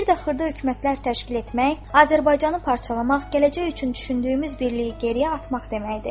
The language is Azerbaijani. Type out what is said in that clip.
Bir də xırda hökumətlər təşkil etmək, Azərbaycanı parçalamaq, gələcək üçün düşündüyümüz birliyi geriyə atmaq deməkdir.